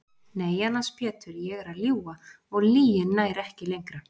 Nei annars Pétur ég er að ljúga og lygin nær ekki lengra.